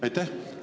Aitäh!